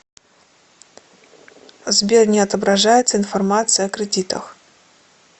сбер не отображается информация о кредитах